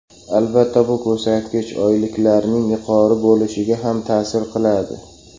Albatta, bu ko‘rsatkich oyliklarning yuqori bo‘lishiga ham ta’sir qiladi.